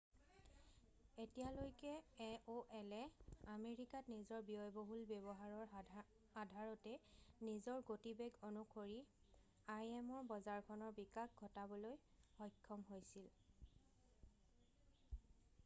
এতিয়ালৈকে এঅ'এলে আমেৰিকাত নিজৰ বহুল ব্য়ৱহাৰৰ আধাৰতে নিজৰ গতিবেগ অনুসৰি আইএমৰ বজাৰখনৰ বিকাশ ঘটাবলৈ সক্ষম হৈছিল